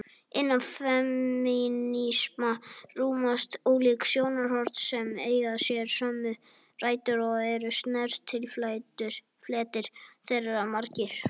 Innan femínisma rúmast ólík sjónarhorn sem eiga sér sömu rætur og eru snertifletir þeirra margir.